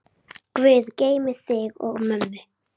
Þinn að eilífu, Arnþór.